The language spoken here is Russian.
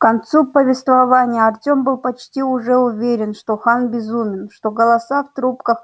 к концу повествования артём был почти уже уверен что хан безумен что голоса в трубах